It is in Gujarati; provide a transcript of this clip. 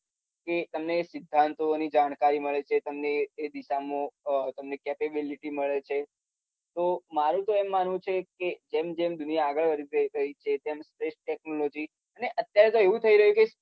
કે તમને સિદ્ધાંતોની જાણકારી મળે છે. તમને એ દિશામાં તમને કેપેબીલીટી પણ મળે છે. તો મારુ તો એમ માનવુ છે કે જેમ જેમ દુનિયા આગળ વધી રહી છે એમ એમ સ્પેસ ટેક્નોલોજી. અને અત્યારે તો એવુ થઈ રહ્યુ છે કે